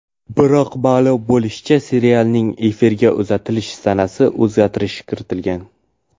Biroq ma’lum bo‘lishicha, serialning efirga uzatilish sanasiga o‘zgartirish kiritilgan.